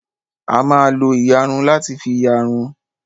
A máa lo ìyarun láti fi ìyarun.